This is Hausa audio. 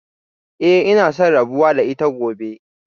Eh ina son rabuwa da ita gobe